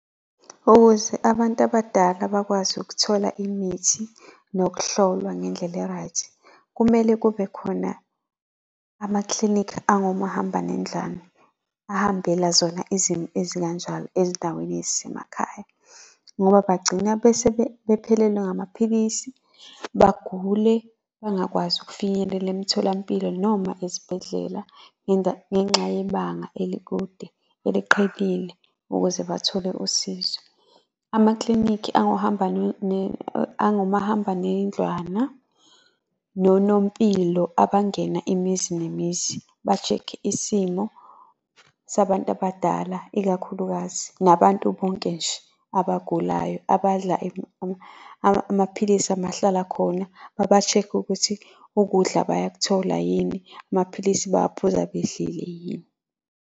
Ukuze abantu abadala bakwazi ukuthola imithi nokuhlolwa ngendlela e-right, kumele kube khona ama-clinic angomahambanendlwane. Ahambela zona izimo ezikanjalo ezindaweni ezisemakhaya. Ngoba bagcina bese bephelelwa ngamaphilisi bagule bangakwazi ukufinyelela emtholampilo noma ezibhedlela ngenxa yebanga elikude eliqhelile ukuze bathole usizo. Ama-clinic angomahambanendlwana, nonompilo, abangena imizi nemizi ba-check-e isimo sabantu abadala ikakhulukazi, nabantu bonke nje abagulayo abadla amaphilisi amahlala khona, baba-check-e ukuthi ukudla bayakuthola yini? Amaphilisi bawaphuza bedlile yini?